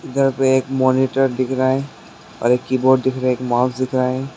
इधर को एक मॉनिटर दिख रहा है और एक की बोर्ड दिख रहा है एक माउस दिख रहा है।